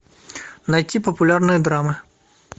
найти популярные драмы